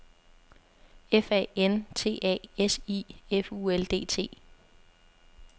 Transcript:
F A N T A S I F U L D T